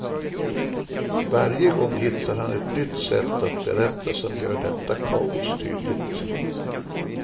Varje gång hittar han ett nytt sätt att berätta som gör detta kaos tydligt.